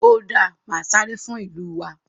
ó dáa màá sáré fún ìlú wa.